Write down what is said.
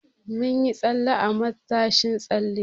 Mun yi tsalle a matashin tsalle.